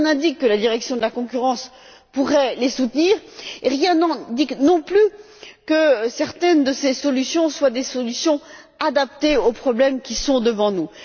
Rien n'indique donc que la Direction de la concurrence pourrait les soutenir et rien n'indique non plus que certaines des solutions soient des solutions adaptées aux problèmes qui sont devant nous.